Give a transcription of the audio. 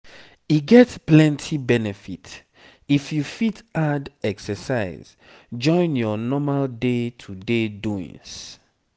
e get plenty benefit if you fit add exercise join your normal day-to-day doings.